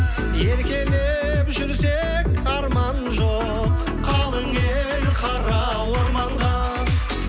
еркелеп жүрсек арман жоқ қалың ел қара орманға